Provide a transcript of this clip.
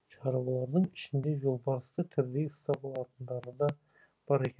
шаруалардың ішінде жолбарысты тірідей ұстап алатындары да бар екен